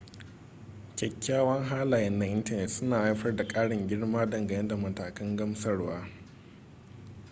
kyakyawan halaye na intanet suna haifar da karin girma dangane da matakan gamsarwa